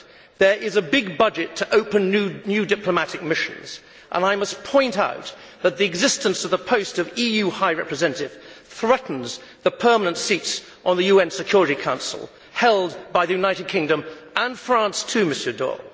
There is a big budget to open new diplomatic missions, and I must point out that the existence of the post of EU High Representative threatens the permanent seats on the UN Security Council held by the United Kingdom and France, too, Monsieur Daul.